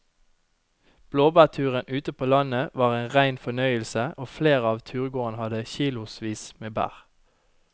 Blåbærturen ute på landet var en rein fornøyelse og flere av turgåerene hadde kilosvis med bær.